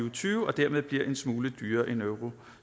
og tyve og dermed bliver en smule dyrere end euro